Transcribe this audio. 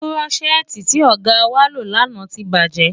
Kúrọ́ṣẹ́ẹ́tì tí ọ̀gá wá lò lánàá ti bàjẹ́.